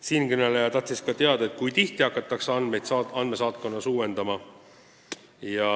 Siinkõneleja tahtis ka teada, kui tihti hakatakse andmeid andmesaatkonnas uuendama.